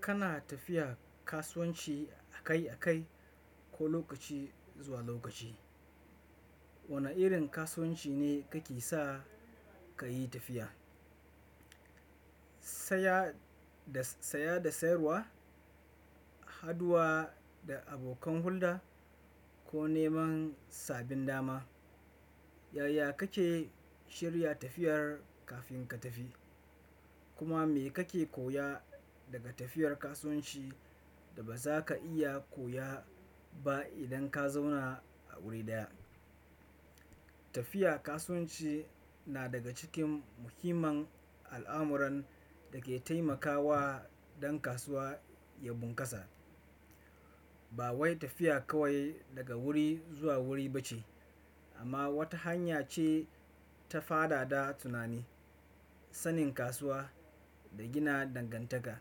Kana tafiya kasuwanci akai-akai ko lokaci zuwa lokaci. Wane irin kasuwanci ne kake sa ka yi tafiya? Saya da sayarwa, haduwa da abokan hulɗa ko neman sabin dama? Yaya kake shirya tafiyar kafin ka tafi? Kuma me kake koya daga tafiyar kasuwanci ba za ka iya koya ba idan ka zauna a wuri ɗaya? Tafiya kasuwanci na daga cikin muhimman al'amuran da ke taimakawa dan kasuwa ya bunkasa. Ba wai tafiya kawai daga wuri zuwa wuri ba ce, amma wata hanya ce ta fadada tunani, sanin kasuwa da gina dangantaka.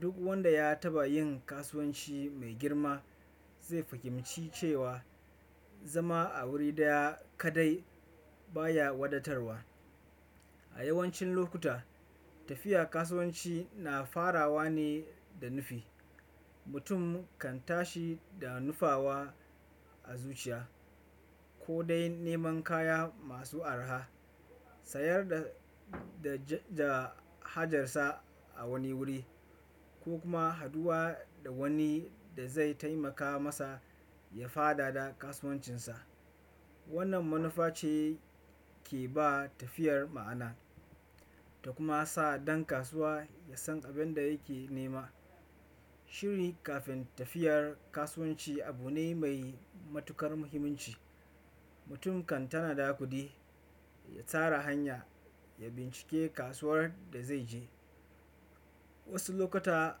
Duk wanda ya taɓa yin kasuwanci mai girma zai fahimci cewa zama a wuri ɗaya kadai baya wadatarwa. A yawancin lokuta, tafiya kasuwanci na farawa ne da nufi. Mutum kan tashi da nufawa a zuciya, ko dai neman kaya masu araha, sayar da hajarsa a wani wuri ko kuma haduwa da wani da zai taimaka masa ya fadada kasuwancinsa. Wannan manufa ce ke ba tafiyar ma'ana ta kuma sa dan kasuwa ya san abin da yake nema. Shiri kafin tafiyar kasuwanci abu ne mai matuƙar muhimmanci. Mutum kan tanada kuɗi, ya tsara hanya, ya bincike kasuwar da zai je. Wasu lokuta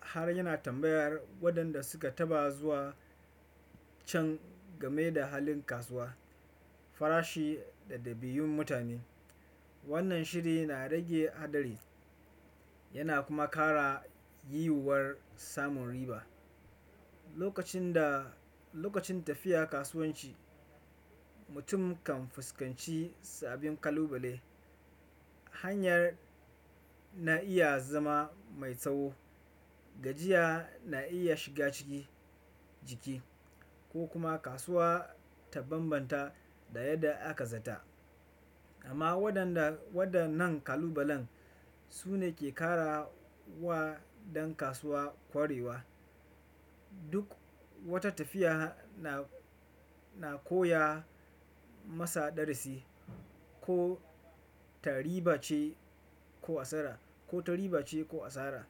har yana tambayar waɗanda suka taɓa zuwa can game da halin kasuwa, farashi da dabi'un mutane. Wannan shiri na rage haɗari yana kuma kara yiwuwar samun riba. Lokacin tafiya kasuwanci, mutum kan fuskanci sabbin kalubale. Hanyar na iya zama mai tsawo, gajiya na iya shiga ciki jiki ko kuma kasuwa ta bambanta da yadda aka zata. Amma waɗannan kalubalen su ne ke ƙara wa dan kasuwa kwarewa. Duk wata tafiya na koya masa darasi, ko ta riba ce ko asara.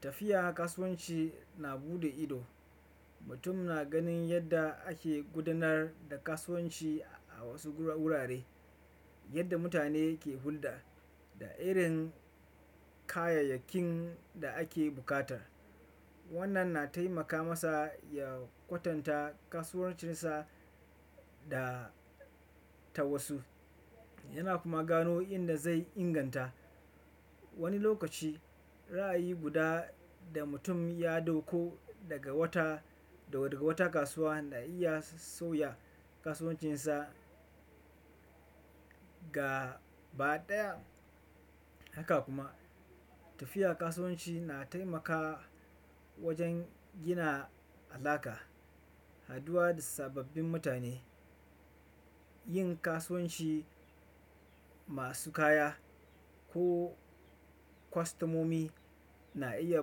Tafiya kasuwanci na buɗe ido. Mutum na ganin yadda ake gudanar da kasuwanci a wasu wurare, yadda mutane ke hulɗa da irin kayayyakin da ake bukata. Wannan na taimaka masa ya kwatanta kasuwancinsa da ta wasu yana kuma gano inda zai inganta. Wani lokaci ra'ayi guda da mutum ya dauko daga wata wata kasuwa na iya sauya kasuwancinsa gabaɗaya. Haka kuma tafiya kasuwanci na taimaka wajen gina alaƙa. Haduwa da sababbin mutane, yin kasuwanci masu kaya ko kwastomomi na iya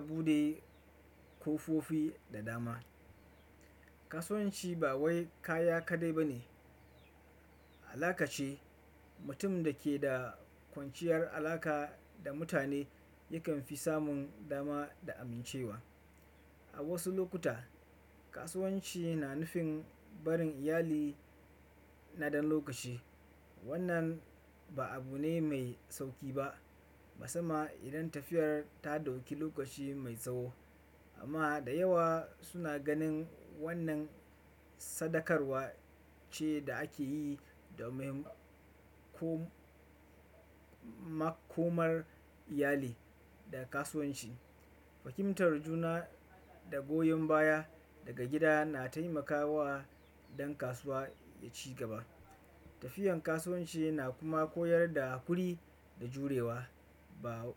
buɗe kofofi da dama. Kasuwanci ba wai kaya kaɗai ba ne, alaƙa ce. Mutum da ke da kwanciyar alaƙa da mutane yakan fi samun dama da amincewa. A wasu lokuta, kasuwanci na nufin barin iyali na ɗan lokaci. Wannan ba abu ne mai sauƙi ba, musamman idan tafiyar ta dauki lokaci mai tsawo. Amma da yawa suna ganin wannan sadakarwa ce da ake yi domin makomar iyali da kasuwanci. Fakimtar juna da goyon baya daga gida na taimakawa dan kasuwa ya ci gaba. Tafiyan kasuwanci na kuma koyar da hakuri da jurewa. Ba.